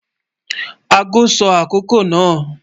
Ago sọ akokò náà.